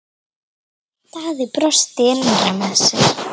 Daði brosti innra með sér.